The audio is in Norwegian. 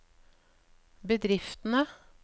bedriftene